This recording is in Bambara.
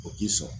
O k'i sɔn